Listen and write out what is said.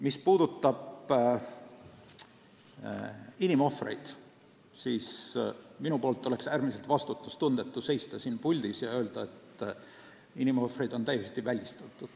Mis puutub inimohvritesse, siis minust oleks äärmiselt vastutustundetu seista siin puldis ja öelda, et inimohvrid on täiesti välistatud.